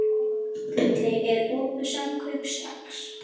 Gulli, er opið í Samkaup Strax?